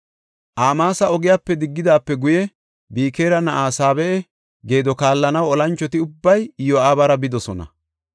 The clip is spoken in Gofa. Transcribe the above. Amaasa ogepe diggidaape guye, Bikira na7aa Saabe7a geedo kaallanaw olanchoti ubbay Iyo7aabara bidosona.